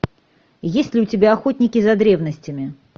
есть ли у тебя охотники за древностями